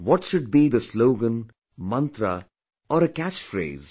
What should be the slogan, mantra or a catchphrase